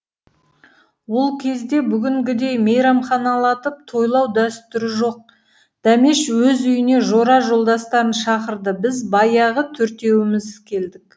ол кезде бүгінгідей мейрамханалатып тойлау дәстүрі жоқ дәмеш өз үйіне жора жолдастарын шақырды біз баяғы төртеуміз келдік